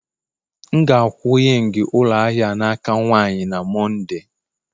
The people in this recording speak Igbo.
M ga-akwụ ying ụlọ ahịa a n'aka nwanyị na Mọnde